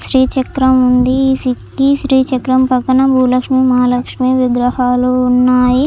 శ్రీ చక్రం ఉంది. ఈ శ్రీ చక్రం పక్కన భూలక్ష్మి మహాలక్ష్మి విగ్రహాలు ఉన్నాయి.